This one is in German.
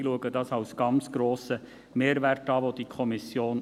Dies erachte ich als ganz grossen Mehrwert dieser Kommission.